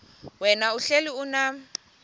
wena uhlel unam